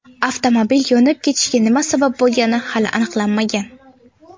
Avtomobil yonib ketishiga nima sabab bo‘lgani hali aniqlanmagan.